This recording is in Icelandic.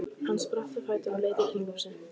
Hann spratt á fætur og leit í kringum sig.